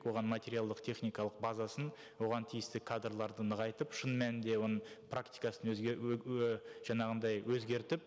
оған материалды техникалық базасын оған тиісті кадрларды нығайтып шын мәнінде оның практикасын жаңағындай өзгертіп